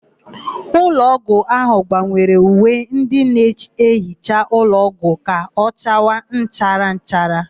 Ụlọọgwụ ahụ gbanwere uwe ndị na-ehicha ụlọọgwụ ka ọchawa nchara nchara.